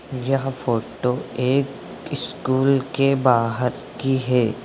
यह फोटो एक स्कूल के बाहर की है।